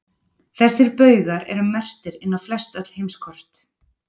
þessir baugar eru merktir inn á flestöll heimskort